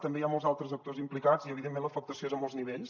també hi ha molts altres actors implicats i evidentment l’afectació és a molts nivells